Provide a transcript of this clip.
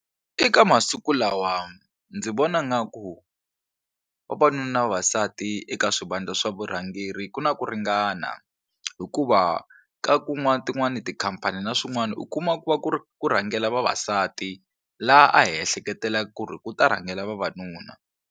Eka masiku lawa ndzi vona nga ku vavanuna na vavasati eka swivandla swa vurhangeri ku na ku ringana hikuva ka tin'wani tikhampani na swin'wana u kuma ku va ku ri ku rhangela vavasati laha a hi ehleketelela ku ri ku ta rhangela vavanuna.